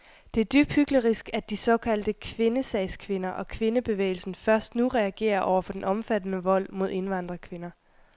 Det er dybt hyklerisk, at de såkaldte kvindesagskvinder og kvindebevægelsen først nu reagerer over for den omfattende vold mod indvandrerkvinder.